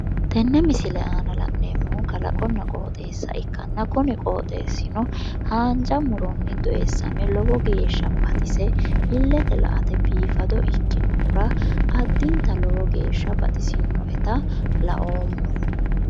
Tenne misile aana la'neemmohu kalaqonna qooxxessa ikkanna kuni qooxxeessino haanja muronni doosame lowo geeshsha baxise illete la'ate biifado ikkinohura addinta lowo geeshsha baxisinoeta laoomma.